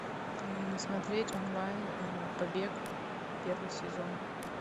смотреть онлайн побег первый сезон